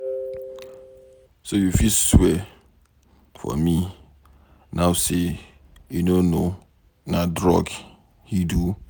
So you fit swear for me now say you no know na drug he do?